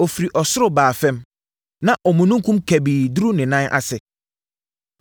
Ɔfirii ɔsoro baa fam; na omununkum kabii duruu ne nan ase.